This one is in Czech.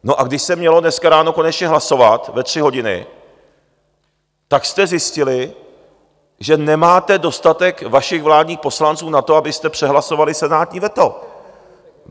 No a když se mělo dneska ráno konečně hlasovat ve tři hodiny, tak jste zjistili, že nemáte dostatek vašich vládních poslanců na to, abyste přehlasovali senátní veto.